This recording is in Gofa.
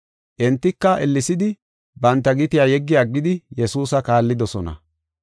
Entika, ellesidi banta gitiya yeggi aggidi Yesuusa kaallidosona.